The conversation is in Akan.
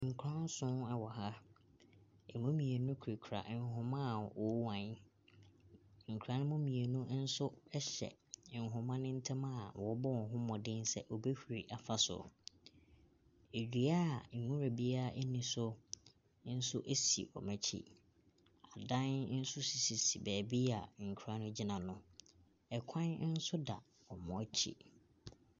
Nkwadaa nson wɔ ha, ɛmu mmienu kita nhoma wɔrehuan, nkwadaa ne mmienu nso hyɛ nhoma no ntam a wɔrebɔ wɔn ho mmɔden sɛ wɔbɛhuri afa soro. Dua a nwura biara nni so nso si wɔn akyi. Adan nso sisi beebi a nkwadaa no gyina no, kwan nso da wɔnakyi.